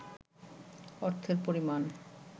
অর্থের পরিমাণ